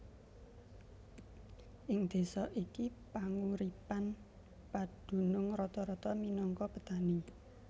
Ing désa iki panguripan padunung rata rata minangka petani